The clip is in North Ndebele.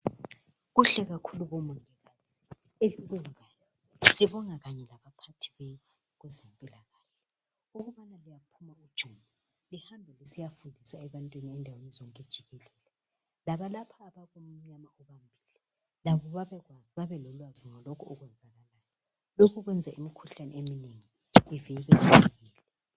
Kuhle kakhulu bomama, elikwenzayo. Sibonga kanye labaphathi benu, kweezempilakahle,. Ukubana liyakhutshwa. Lihambe lisiyafundisa, endaweni zonke jikelele. Labo babelolwazi ngalokho okwenzakalayo. Lokhu kwenz ukuthi imikhuhlane eminengi, ivikeleke.